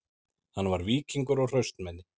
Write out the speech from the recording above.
Hann var víkingur og hraustmenni